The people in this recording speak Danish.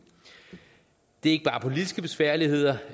det er ikke bare politiske besværligheder